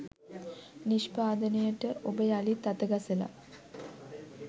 නිෂ්පාදනයට ඔබ යළිත් අතගසලා.